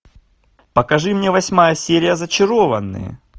покажи мне восьмая серия зачарованные